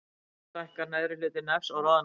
Stundum stækkar neðri hluti nefs og roðnar.